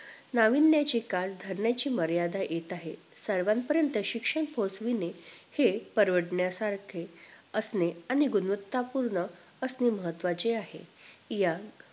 नाविन्याची काळ ठरण्याची मर्यादा येत आहे सर्वांपर्यंत शिक्षण पोहचविणे हे परवडण्यासारखे असणे आणि गुणवत्ता पूर्ण असणे महत्वाचे आहे या